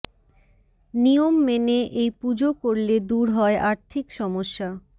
নিয়ম মেনে এই পুজো করলে দূর হয় আর্থিক সমস্যা